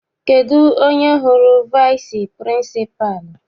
Kedụ onye hụrụ vici pịrịnsịpalụ?